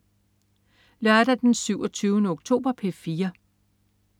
Lørdag den 27. oktober - P4: